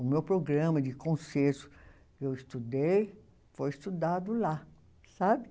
O meu programa de que eu estudei foi estudado lá, sabe?